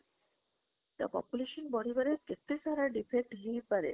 ତ population ବଢି ବାରେ କେତେ ସାରା defect ହେଇ ପରେ